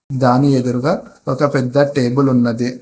దాని ఎదురుగా ఒక పెద్ద టేబుల్ ఉన్నది.